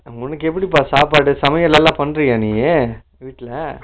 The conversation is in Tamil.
உன்னக்கு எப்படிப்பா சாப்பாடு சமையல் நல்லா பண்றியா நீயி வீட்டுல ?